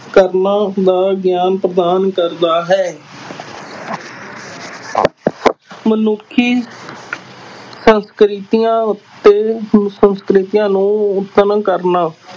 ਕਰਨ ਦਾ ਗਿਆਨ ਪ੍ਰਦਾਨ ਕਰਦਾ ਹੈ ਮਨੁੱਖੀ ਸੰਸਕ੍ਰਿਤੀਆਂ ਉੱਤੇ ਸੰਸਕ੍ਰਿਤੀਆਂ ਨੂੰ ਕਰਨਾ,